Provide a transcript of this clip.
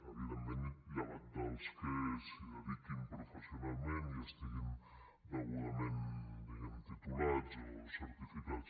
evidentment llevat dels que s’hi dediquin professionalment i estiguin degudament titulats o certificats